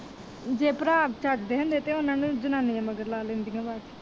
ਜੇ ਭਰਾ ਚੱਜ ਦੇ ਹੁੰਦੇ ਤਾਂ ਉਹਨਾ ਨੂੰ ਜਨਾਨੀਆ ਮਗਰ ਲਾ ਲੈਂਦੀਆਂ ਬਸ ।